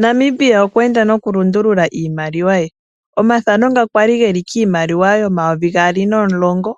Nambia okwe enda noku lundulula iimaliwa ye omathano nga kwali geli kiimaliwa yomayovi gaali nomulongo